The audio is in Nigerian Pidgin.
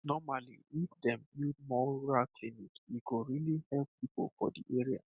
normally if dem build more rural clinic e go really help people for the area